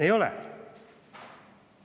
Ei ole.